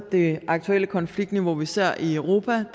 det aktuelle konfliktniveau som vi ser i europa